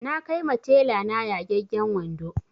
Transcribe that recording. Na kai ma tela na yagagen wando